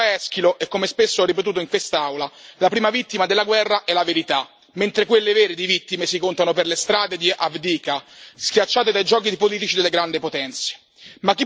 Come diceva Eschilo e come spesso ho ripetuto in quest'Aula, la prima vittima della guerra è la verità, mentre quelle vere di vittime si contano per le strade di Avdiivka, schiacciate dai giochi politici delle grandi potenze.